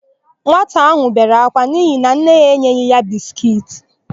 Nwata áhụ̀ bere akwa n'ihi na nne ya enyeghị ya biskiiti.